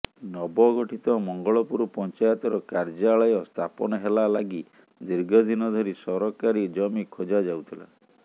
ନବଗଠିତ ମଙ୍ଗଳପୁର ପଂଚାୟତର କାର୍ଯ୍ୟାଳୟ ସ୍ଥାପନ ହେଲା ଲାଗି ଦୀର୍ଘଦିନ ଧରି ସରକାରୀ ଜମି ଖୋଜାଯାଉଥିଲା